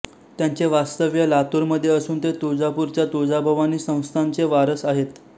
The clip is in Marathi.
त्यांचे वास्तव्य लातूर मध्ये असून ते तुळजापूर च्या तुळजाभवानी संस्थानचे वारस आहेत